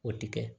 O tɛ kɛ